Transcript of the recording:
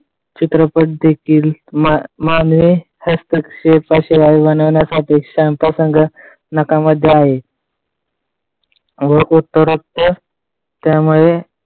चित्रपट देखील मान मानवी हस्तक्षेपाशिवाय बनवण्यासाठी त्यामुळे